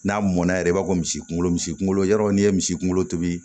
N'a mɔnna yɛrɛ i b'a fɔ misi kunkolo misi kunkolo y'a yɔrɔ n'i ye misi kunkolo tobi